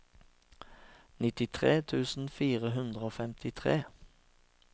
nittitre tusen fire hundre og femtitre